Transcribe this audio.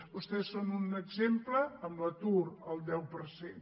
vostès en són un exemple amb l’atur al deu per cent